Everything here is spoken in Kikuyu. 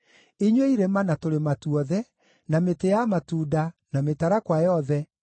inyuĩ irĩma, na tũrĩma tuothe, na mĩtĩ ya matunda, na mĩtarakwa yothe,